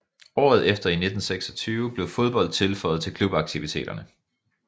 Året efter i 1926 blev fodbold tilføjet til klubaktiviteterne